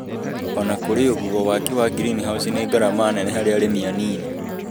Ona kũri o ũguo, waki wa ngirinihaũci nĩ ngarama nene harĩ arĩmi anini.